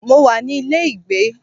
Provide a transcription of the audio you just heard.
Mo wà ní ilé ìgbé.